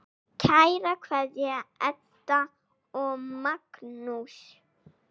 Kær kveðja, Ebba og Magnús.